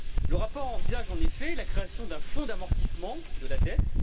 Le rapport envisage, en effet, la création d'un Fonds d'amortissement de la dette.